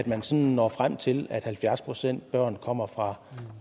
man sådan når frem til at halvfjerds procent af børnene kommer fra